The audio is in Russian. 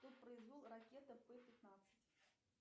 кто произвел ракета п пятнадцать